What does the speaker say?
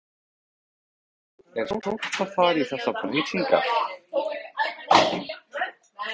Jón Júlíus Karlsson: Er sárt að fara í þessar breytingar?